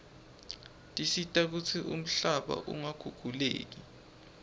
tisita kutsi umhlaba ungakhukhuleki